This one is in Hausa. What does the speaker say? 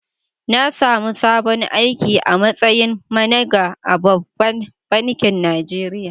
Na samu sabon aiki a mastayin managa a ɓabbank bankin Najeriya.